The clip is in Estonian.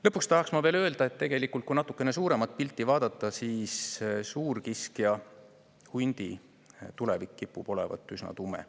Lõpuks tahaks ma veel öelda, et tegelikult, kui natuke suuremat pilti vaadata, siis suurkiskja hundi tulevik kipub olema üsna tume.